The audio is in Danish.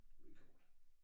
Record